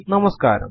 നമസ്കാരം